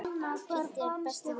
Kiddi er besti vinur hans.